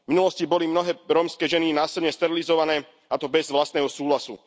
V minulosti boli mnohé rómske ženy násilne sterilizované, a to bez vlastného súhlasu.